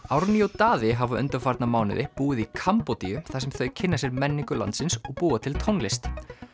Árný og Daði hafa undanfarna mánuði búið í Kambódíu þar sem þau kynna sér menningu landsins og búa til tónlist